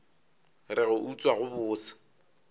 re go utswa go bose